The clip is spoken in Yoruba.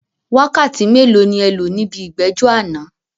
Wákàtí mélòó ni ẹ lò níbi ìgbẹ́jọ́ àná?